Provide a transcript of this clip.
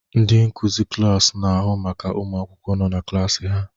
Ndị nkuzi klaasị na-ahụ maka ụmụ akwụkwọ nọ na klaasị ha